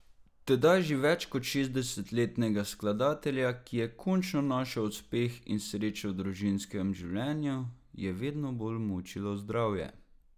Tedaj že več kot šestdesetletnega skladatelja, ki je končno našel uspeh in srečo v družinskem življenju, je vedno bolj mučilo zdravje.